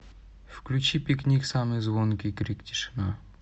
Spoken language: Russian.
включи пикник самый звонкий крик тишина